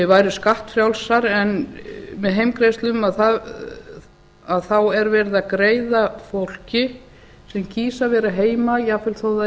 væru skattfrjálsar en með heimgreiðslum er verið að greiða fólki sem kýs að vera heima jafn vel þó